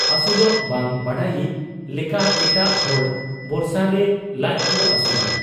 ᱟᱹᱥᱩᱞᱚᱜ ᱵᱟᱝ ᱵᱟᱰᱟᱭᱤᱡ ᱞᱮᱠᱟ ᱮᱴᱟᱜ ᱦᱚᱲ ᱵᱚᱨᱥᱟᱨᱮ ᱞᱟᱡᱠᱚ ᱟᱹᱥᱩᱞᱟ ᱾